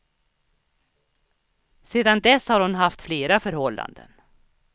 Sedan dess har hon haft flera förhållanden.